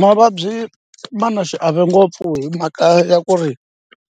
Mavabyi ma na xiave ngopfu hi mhaka ya ku ri